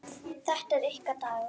Þetta er ykkar dagur.